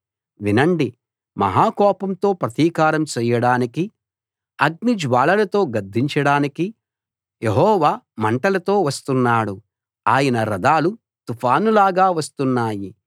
వినండి మహా కోపంతో ప్రతీకారం చేయడానికి అగ్నిజ్వాలలతో గద్దించడానికి యెహోవా మంటలతో వస్తున్నాడు ఆయన రథాలు తుఫానులాగా వస్తున్నాయి